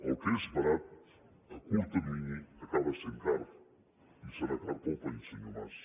el que és barat a curt termini acaba sent car i serà car per al país senyor mas